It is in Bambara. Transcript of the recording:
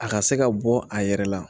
A ka se ka bɔ a yɛrɛ la